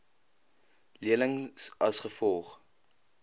lenings as gevolg